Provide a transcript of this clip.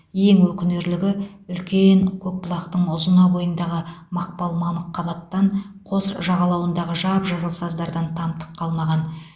ең өкінерлігі үлкен көкбұлақтың ұзына бойындағы мақпал мамық қабаттан қос жағалауындағы жап жасыл саздардан тамтық қалмаған